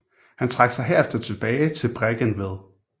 Han trak sig herefter tilbage til Bregentved